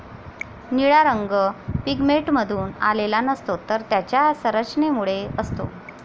निळा रंग पिगमेंटमधून आलेला नसतो, तर त्याच्या संरचनेमुळे असतो.